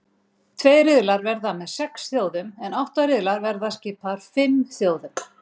Tveir riðlar verða með sex þjóðum en átta riðlar verða skipaðir fimm þjóðum.